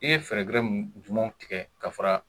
I ye fɛɛrɛ gɛrɛ jumɛnw tigɛ ka fara